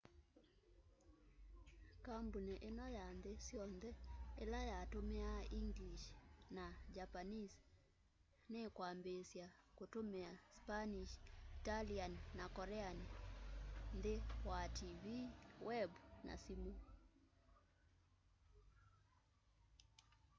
kambuni ino ya nthi syonthe ila yatumiaa english na japanese ni kwambiisya kutumia spanish italian na korean nthi wa tv web na simu